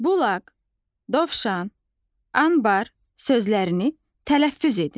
Bulaq, dovşan, anbar sözlərini tələffüz edin.